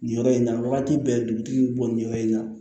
Nin yɔrɔ in na wagati bɛɛ dugutigi bi bɔ nin yɔrɔ in na